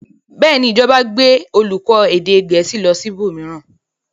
Bẹ́ẹ̀ ni, ìjọba gbé olùkọ́ èdè Gẹ̀ẹ́sì lọ ibòmíràn.